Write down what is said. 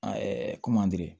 A ye ko